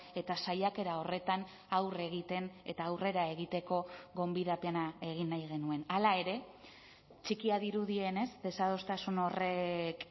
eta saiakera horretan aurre egiten eta aurrera egiteko gonbidapena egin nahi genuen hala ere txikia dirudienez desadostasun horrek